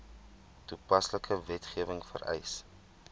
toepaslike wetgewing vereis